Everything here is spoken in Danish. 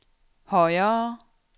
højere